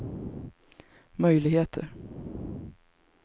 möjligheter